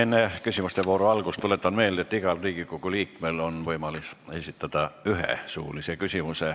Enne küsimuste vooru algust tuletan meelde, et igal Riigikogu liikmel on võimalik esitada üks suuline küsimus.